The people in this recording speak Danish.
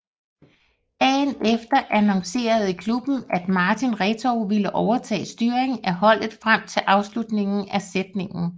Dagen efter annoncerede klubben at Martin Retov ville overtage styringen af holdet frem til afslutningen af sæsonen